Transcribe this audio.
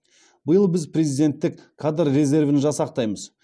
биыл біз президенттік кадр резервін жасақтаймыз